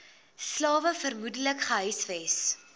slawe vermoedelik gehuisves